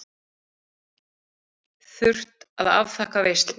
Þurft að afþakka veislur.